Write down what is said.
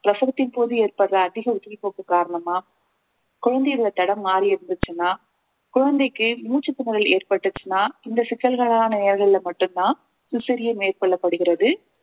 பிரசவத்தின் போது ஏற்படுற அதிக உதிரி போக்கு காரணமா குழந்தை தடம் மாறி இருந்துச்சுன்னா குழந்தைக்கு மூச்சுத்திணறல் ஏற்பட்டுச்சுன்னா இந்த சிக்கல்களான நேரங்கள்ல மட்டும்தான் cesarean மேற்கொள்ளப்படுகிறது